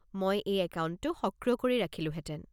মই এই একাউণ্টটো সক্ৰিয় কৰি ৰাখিলোঁহেতেন।